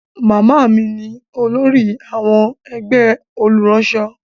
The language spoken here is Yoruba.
Màmá mi ni olórí àwọn ẹgbẹ́ àwọn olùránṣọ.